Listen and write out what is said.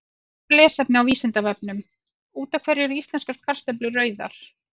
Frekara lesefni á Vísindavefnum: Út af hverju eru íslenskar kartöflur rauðar?